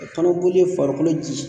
Kalo joli ye farikolo ji